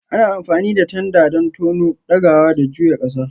Ana amfani da tanda don tono, ɗagawa, da juya ƙasa.